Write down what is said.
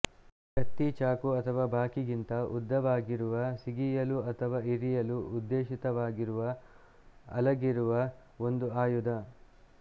ಕತ್ತಿ ಚಾಕು ಅಥವಾ ಬಾಕಿಗಿಂತ ಉದ್ದವಾಗಿರುವ ಸಿಗಿಯಲು ಅಥವಾ ಇರಿಯಲು ಉದ್ದೇಶಿತವಾಗಿರುವ ಅಲಗಿರುವ ಒಂದು ಆಯುಧ